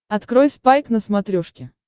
открой спайк на смотрешке